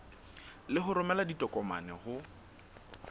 le ho romela ditokomane ho